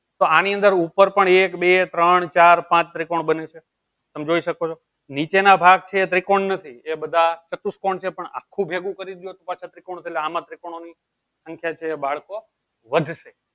તો આની અંદર ઉપર પણ એક બે ત્રણ ચાર પાંચ ત્રિકોણ બને છે તમે જોઈ શકો છો નીચેના ભાગ છે ત્રિકોણ નથી એ બધા ચતુષ્કોણ છે પણ આખું ભેગું કરી દયો તો પાછા ત્રિકોણ છે ત આમાં ત્રિકોણ ની સંખ્યા છે બાળકો વધશે.